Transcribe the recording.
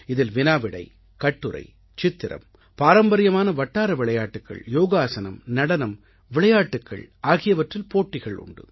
இதில் வினா விடை கட்டுரை சித்திரம் பாரம்பரியமான வட்டார விளையாட்டுக்கள் யோகாஸனம் நடனம் விளையாட்டுக்கள் ஆகியவற்றில் போட்டிகள் உண்டு